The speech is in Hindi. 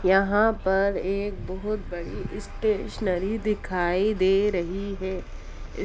यहाॅं पर एक बोहुत बड़ी स्टेशनरी दिखाई दे रही है।